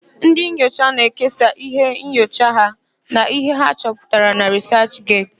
Ndị nyocha na-ekesa íhé nyocha ha na íhé ha chọputara na rịsachget.